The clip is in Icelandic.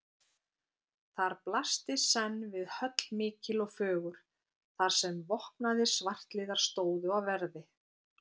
Þar blasti senn við höll mikil og fögur, þar sem vopnaðir svartliðar stóðu á verði.